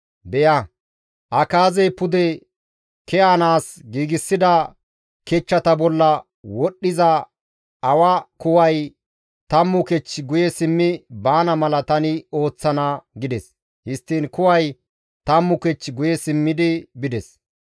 beya, Akaazey pude ke7anaas giigsida kechchata bolla wodhdhiza awa kuway tammu kech guye simmi baana mala tani ooththana» gides. Histtiin kuway tammu kech guye simmidi bides.